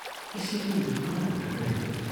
ꯏꯁꯤꯡ ꯑꯃꯠꯇ ꯊꯛꯅꯗꯦ ꯫